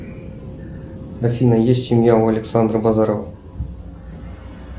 афина есть семья у александра базарова